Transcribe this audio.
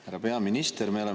Härra peaminister!